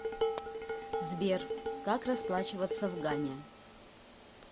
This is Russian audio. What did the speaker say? сбер как расплачиваться в гане